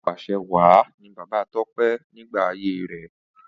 Apàṣẹwàá ni Bàbá Tọ́pẹ́ nígbà ayé rẹ̀.